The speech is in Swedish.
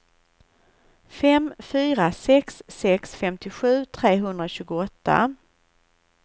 fem fyra sex sex femtiosju trehundratjugoåtta